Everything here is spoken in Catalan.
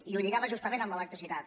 i ho lligava justament amb l’electricitat